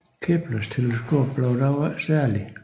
Keplers teleskop blev dog ikke særlig